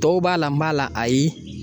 Tɔw b'a la n b'a la ayi.